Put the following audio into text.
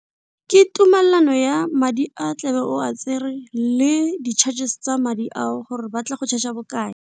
Ke tumelelano ya madi a tlebe o a tsere le di-charges tsa madi ao gore ba tla go charge-a bokae.